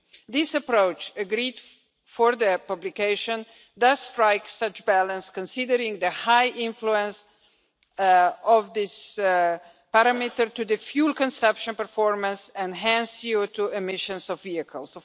This approached, agreed for the publication, does strike such a balance considering the high influence of this parameter to the fuel consumption performance and hence CO2 emissions of vehicles.